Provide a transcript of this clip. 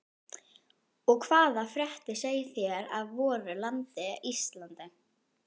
Og hvaða fréttir segið þér af voru landi Íslandi?